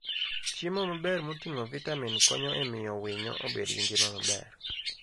Chiemo maber moting'o vitamin konyo e miyo winyo obed gi ngima maber.